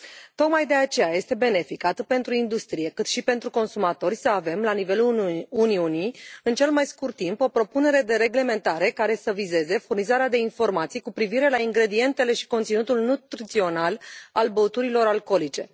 Tocmai de aceea este benefic atât pentru industrie, cât și pentru consumatori să avem la nivelul Uniunii în cel mai scurt timp o propunere de reglementare care să vizeze furnizarea de informații cu privire la ingredientele și conținutul nutrițional al băuturilor alcoolice.